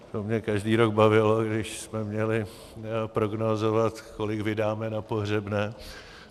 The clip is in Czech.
To mě každý rok bavilo, když jsme měli prognózovat, kolik vydáme na pohřebné.